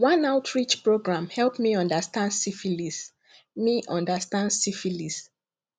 one outreach program help me understand syphilis me understand syphilis